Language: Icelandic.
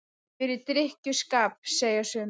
Fyrir drykkju- skap, segja sumir.